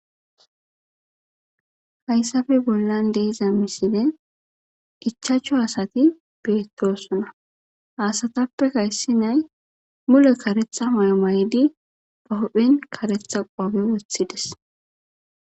hayssappe bollan deeza misilene ichaachchu asati beettosona haasatappekayssi nay mule karetha maymaydi bahodphen karetha qoabe wothides